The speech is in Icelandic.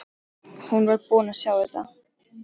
Hún var búin að sjá þetta!